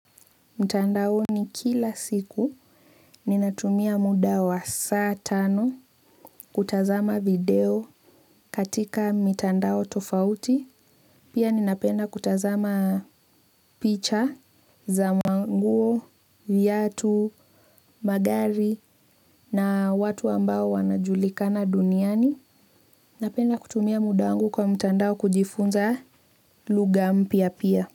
Mtandaoni kila siku ninatumia muda wa saa tano, kutazama video katika mitandao tofauti. Pia ninapenda kutazama picha za manguo, viatu, magari na watu ambao wanaojulikana duniani. Napenda kutumia muda wangu kwa mtandao kujifunza lugha mpya pia.